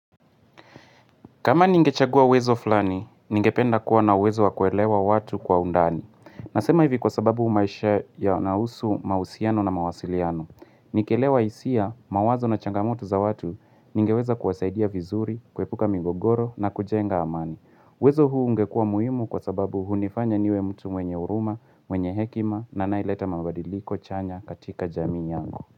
Kama ningechagua uwezo fulani, ningependa kuwa na uwezo wa kuelewa watu kwa undani. Nasema hivi kwa sababu maisha yanahusu mahusiano na mawasiliano. Nikelewa hisia, mawazo na changamoto za watu, ningeweza kuwasaidia vizuri, kuepuka migogoro na kujenga amani. Uwezo huu ungekua muhimu kwa sababu hunifanya niwe mtu mwenye huruma, mwenye hekima na anayeleta mabadiliko chanya katika jamii yangu.